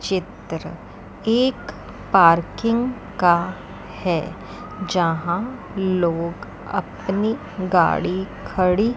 चित्र एक पार्किंग का है जहां लोग अपनी गाड़ी खड़ी--